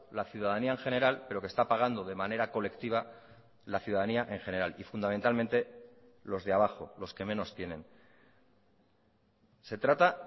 la ciudadanía en general pero que está pagando de manera colectiva la ciudadanía en general y fundamentalmente los de abajo los que menos tienen se trata